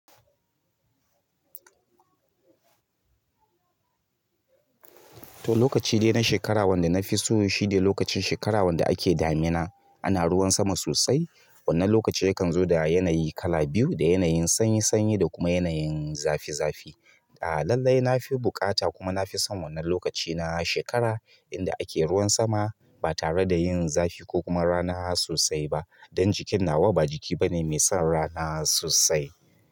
To, lokaci dai na shekara wanda na fi so shine lokacin shekara wanda ake damina ana ruwan sama sosai. Wannan lokaci yakan zo da yanayi kala biyu, da yanayin sanyi sanyi da kuma yanayin zafi zafi. Ah lalai nafi buƙa kuma nafi son wannan lokaci na shekara inda ake ruwan sama ba tare da yin zafi ko kuma rana sosai ba dan jikin nawa ba jiki bane mai son rana sosai.